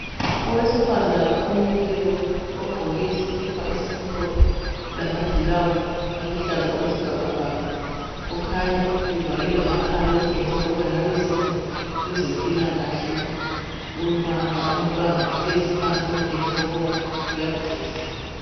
Owesifazana omileyo ogqoke isikipa esimhlophe, lamaglavisi aluhlaza okwesibhakabhaka kukhanya evale lamakhala okutshengisa ukuba engabe usebenza kwezempilakahle. Ubamba umntwana ohlezi phansi okutshengisa ukuba uyagula.